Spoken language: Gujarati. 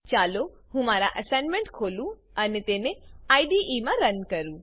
ચાલો હું મારો એસાઈનમેંટ ખોલું અને તેને આઈડીઈમાં રન કરું